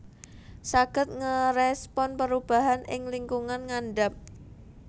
Saged ngerespon perubahan ing lingkungan ngandap